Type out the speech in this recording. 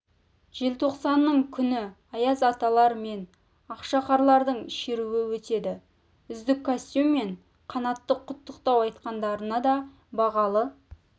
желтоқсанның күні аяз аталар мен ақшақарлардың шеруі өтеді үздік костюм мен қанатты құттықтау айтқандарына да бағалы